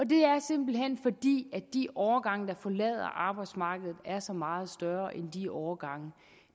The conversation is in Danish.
det er simpelt hen fordi de årgange der forlader arbejdsmarkedet er så meget større end de årgange